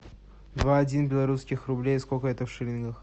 два один белорусских рублей сколько это в шиллингах